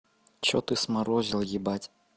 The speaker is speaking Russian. что ты сморозил ебать